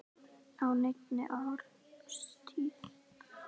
á neinni árstíð.